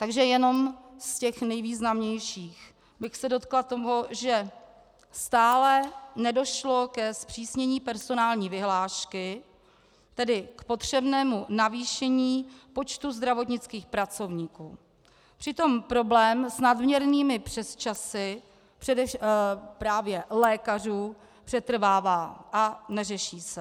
Takže jenom z těch nejvýznamnějších bych se dotkla toho, že stále nedošlo ke zpřísnění personální vyhlášky, tedy k potřebnému navýšení počtu zdravotnických pracovníků, přitom problém s nadměrnými přesčasy právě u lékařů přetrvává a neřeší se.